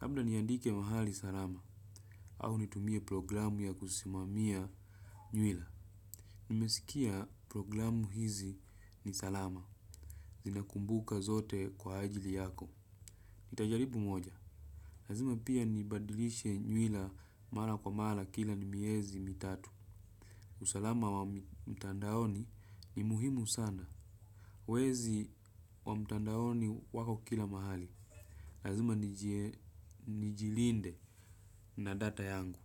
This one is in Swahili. Labda niandike mahali salama, au nitumie programu ya kusimamia nywila. Nimesikia programu hizi ni salama. Zina kumbuka zote kwa ajili yako. Nitajaribu moja. Lazima pia nibadilishe nywila. Mara kwa mara kila ni miezi mitatu. Usalama wa mtandaoni ni muhimu sana. Wezi wa mtandaoni wako kila mahali. Lazima nijilinde na data yangu.